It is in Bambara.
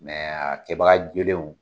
Mɛ a kɛbaga jolenw